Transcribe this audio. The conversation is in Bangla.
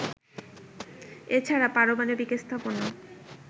এছাড়া পারমাণবিক স্থাপনা